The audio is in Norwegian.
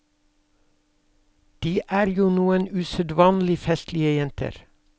De er jo noen usedvanlig festlige jenter.